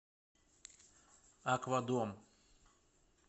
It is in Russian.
аквадом